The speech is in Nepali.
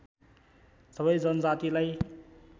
सबै जनजातिलाई